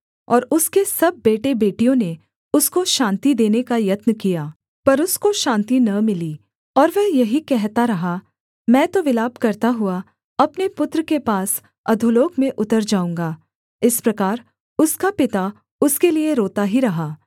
और उसके सब बेटेबेटियों ने उसको शान्ति देने का यत्न किया पर उसको शान्ति न मिली और वह यही कहता रहा मैं तो विलाप करता हुआ अपने पुत्र के पास अधोलोक में उतर जाऊँगा इस प्रकार उसका पिता उसके लिये रोता ही रहा